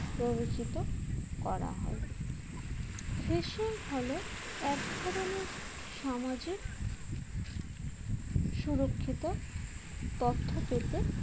প্ররোচিত করা হয় fishing হল এক ধরনের সামাজিক সুরক্ষিত তথ্য পেতে